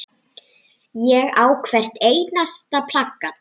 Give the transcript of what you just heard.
Ég á hvert einasta plakat.